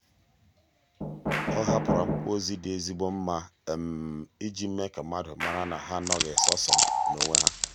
ọ hapụrụ akwụkwọ ozi dị ezigbo mma iji mee ka mmadụ mara na ha anoghị sọọsọ n'onwe ha.